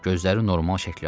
Gözləri normal şəkil aldı.